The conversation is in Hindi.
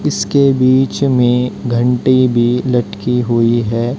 इसके बीच में घंटी भी लटकी हुई है।